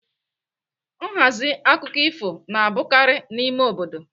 Nhazi akụkọ ifo na-abụkarị n'ime obodo.